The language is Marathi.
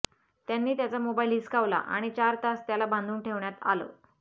त्यांनी त्याचा मोबाईल हिसकावला आणि चार तास त्याला बांधून ठेवण्यात आलं